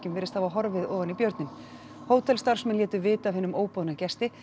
virðist hafa horfið ofan í björninn hótelstarfsmenn létu vita af hinum óboðna gesti